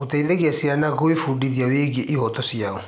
Gũteithagia ciana gwĩbundithia wĩgiĩ ihooto ciao.